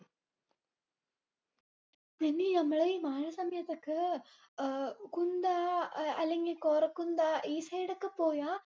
നിമ്മി നമ്മളെ ഈ മഴ സമയത്തൊക്കെ ആഹ് കുന്ദ ഏർ അല്ലെങ്കി കോരകുന്ദ ഈ side ഒക്കെ പോയ